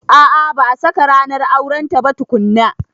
A a ba a saka ranar aurenta ba tukunna.